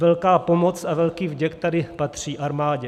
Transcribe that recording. Velká pomoc a velký vděk tady patří armádě.